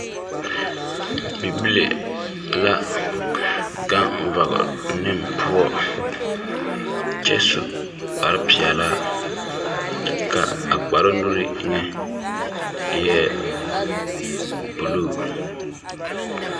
Bibile la gang vɔgle ne pou kye su kpare peɛlaa ka a kparoo nuuri nye eei blue.